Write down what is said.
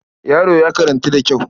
Yaro ya karantu da kyau.